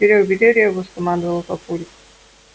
серёг бери ребус скомандовал папулька